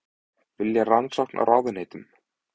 Vilja rannsókn á ráðuneytum